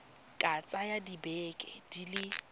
ka tsaya dibeke di le